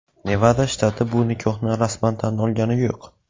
Nevada shtati bu nikohni rasman tan olgani yo‘q.